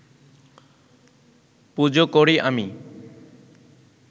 পুজো করি আমি